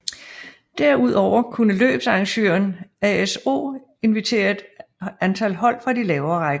Derudover kunne løbsarrangøren ASO invitere et antal hold fra lavere rækker